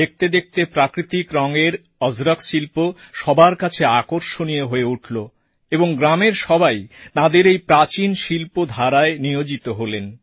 দেখতে দেখতে প্রাকৃতিক রঙের অজরক শিল্প সবার কাছে আকর্ষণীয় হয়ে উঠলো এবং গ্রামের সবাই তাঁদের এই প্রাচীন শিল্পধারায় নিয়োজিত হলেন